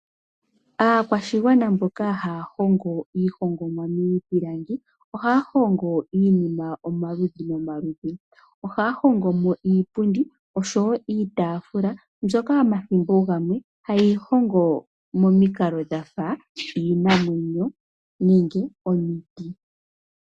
Aakwashigwana mboka haya hongo iihongomwa miipilangi. Ohaya hongo iinima omaludhi nomaludhi. Ohaya hongo mo iipundi, nosho wo iitaafula mbyoka omathimbo oogamwe haye yi hongo momikalo dhafa iinamwenyo nenge omiti.